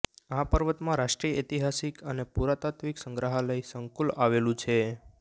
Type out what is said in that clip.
આ પર્વતમાં રાષ્ટ્રીય ઐતિહાસિક અને પુરાતાત્વીક સંગ્રહાલય સંકુલ આવેલું છે